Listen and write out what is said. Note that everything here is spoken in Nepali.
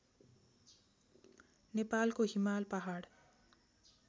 नेपालको हिमाल पहाड